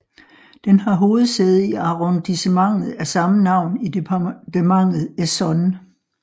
Den er hovedsæde i arrondissementet af samme navn i departementet Essonne